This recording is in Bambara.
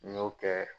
N y'o kɛ